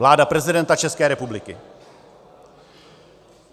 Vláda prezidenta České republiky.